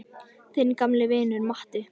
Þinn gamli vinur Matti.